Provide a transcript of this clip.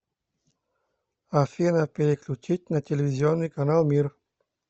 афина переключить на телевизионный канал мир